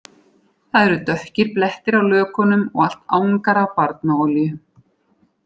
Það eru dökkir blettir á lökunum og allt angar af barnaolíu